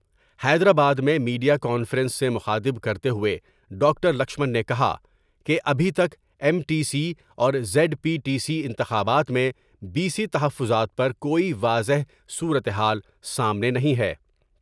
حیدرآباد میں media conference سے مخاطب کرتے ہوئے ڈاکٹر لکشمن نے کہا کہ ابھی تک ایم ٹی کی اور زید پی ٹی سی انتخابات میں بی سی تحفظات پر کوئی واضح صورتحال سامنے نہیں ہے ۔